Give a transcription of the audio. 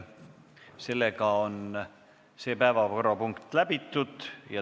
See päevakorrapunkt on läbi arutatud.